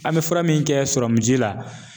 An be fura min kɛ la